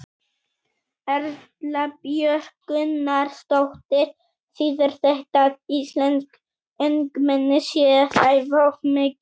Erla Björg Gunnarsdóttir: Þýðir þetta að íslensk ungmenni séu að æfa of mikið?